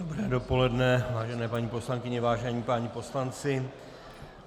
Dobré dopoledne, vážené paní poslankyně, vážení páni poslanci.